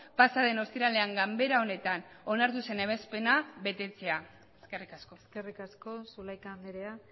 pasa den ostiralean ganbera honetan onartu zen ebazpena betetzea eskerrik asko eskerrik asko zulaika andrea